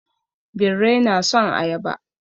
Birrai na son ayaba.